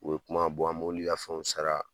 O ye kuma an ka fɛnw sara